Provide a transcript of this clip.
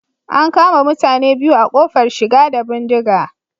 An kama mutane biyu a kofar shiga da bindiga